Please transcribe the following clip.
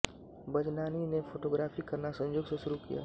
बज़नानी ने फोटोग्राफी करना संयोग से शुरू किया